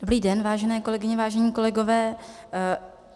Dobrý den, vážené kolegyně, vážení kolegové.